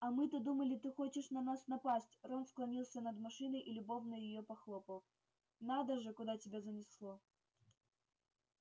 а мы-то думали ты хочешь на нас напасть рон склонился над машиной и любовно её похлопал надо же куда тебя занесло